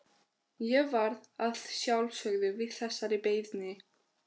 Ég varð að sjálfsögðu við þessari beiðni.